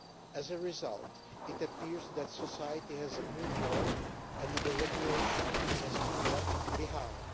As a result, it appears that society has moved on, and that the regulation has been left behind.